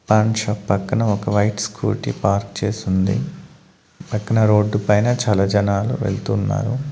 Pan shop పక్కన ఒక white scooty park చేసుంది పక్కన రోడ్డు పైన చాలా జనాలు వెళ్తున్నారు.